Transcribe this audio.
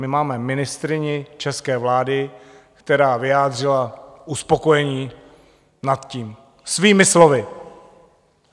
My máme ministryni české vlády, která vyjádřila uspokojení nad tím svými slovy.